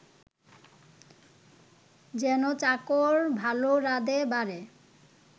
যেন চাকর ভাল রাঁধে বাড়ে